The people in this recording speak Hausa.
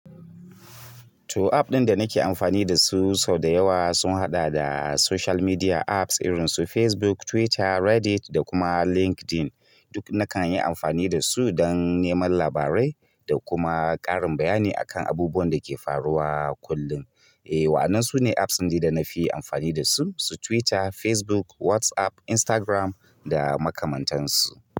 To app ɗin da nake amfani da su sau da yawa sun haɗa da social media apps irin su Facebook, Twitter, Reddit da kuma LinkedIn. Duk nakan yi amfani dasu dan neman labarai da kuma ƙarin bayani akan abubuwan dake faruwa kullun. Eh, wa'annan su ne apps ɗin dai da na fi amfani da su, su Twitter, Facebook, WhatsApp, Instagram da makamantansu.